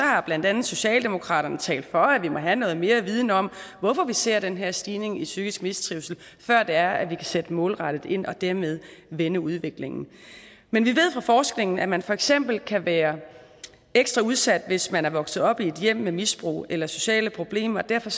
har blandt andet socialdemokratiet talt for at vi må have noget mere viden om hvorfor vi ser den her stigning i psykisk mistrivsel før vi kan sætte målrettet ind og dermed vende udviklingen men vi ved fra forskningen at man for eksempel kan være ekstra udsat hvis man er vokset op i et hjem med misbrug eller sociale problemer og derfor